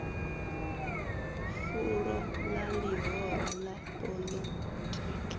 fulo ḽa ḽihoro ḽa poḽotiki